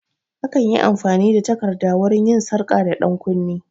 Akan yi amfani da takarda wurin yin sarka da ɗankunne